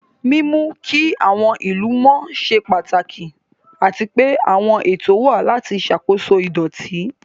Mímú kí àwọn ìlú mọ́ ṣe pàtàkì, àti pé àwọn ètò wà láti ṣàkóso ìdọ̀tí.